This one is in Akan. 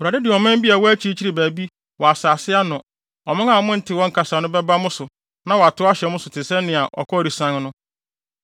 Awurade de ɔman bi a ɛwɔ akyirikyiri baabi, wɔ asase ano, ɔman a monte wɔn kasa no, bɛba mo so na wɔatow ahyɛ mo so te sɛnea ɔkɔre sian no,